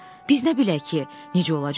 Biz nə bilək ki, necə olacaq?